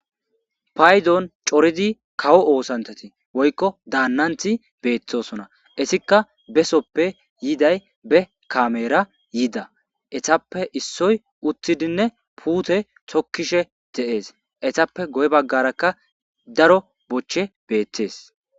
Payzon coridi kawo oosanchchati woykko daannanththi beththoosona; ethikka besoppe yiiday be kaameeraa yiida; ethappe issoy uththidinne puuthe tokkishe de7ees; ethappe guye baggaarakka daro bochchee beeththees.